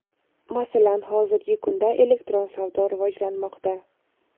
Masalan, hozirgi kunda elektron savdo rivojlanmoqda.